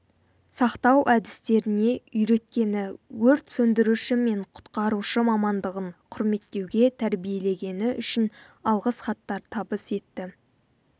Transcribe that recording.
сақтау әдістеріне үйреткені өрт сөндіруші мен құтқарушы мамандығын құрметтеуге тәрбиелегені үшін алғыс хаттар табыс етті